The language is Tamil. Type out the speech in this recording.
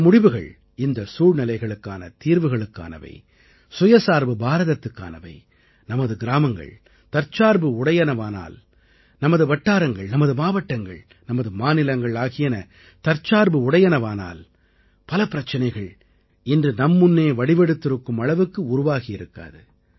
இந்த முடிவுகள் இந்தச் சூழ்நிலைகளுக்கான தீர்வுகளுக்கானவை சுயசார்பு பாரதத்துக்கானவை நமது கிராமங்கள் தற்சார்பு உடையனவாகவானால் நமது வட்டாரங்கள் நமது மாவட்டங்கள் நமது மாநிலங்கள் ஆகியன தற்சார்பு உடையனவாகவானால் பல பிரச்சனைகள் இன்று நம் முன்னே வடிவெடுத்திருக்கும் அளவுக்கு உருவாகி இருக்காது